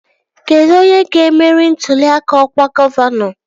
Kedụ onye ga-emeri ntụli aka ọkwa gọvanọ?